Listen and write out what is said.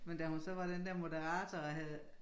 Men da hun så var den der moderator og havde